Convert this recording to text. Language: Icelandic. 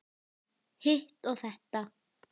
Hitt og þetta.